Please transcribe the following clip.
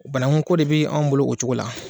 Banakun ko de b'an bolo o cogo la.